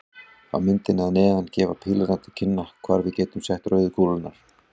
Á myndinni að neðan gefa pílurnar til kynna hvar við getum sett rauðu kúlurnar.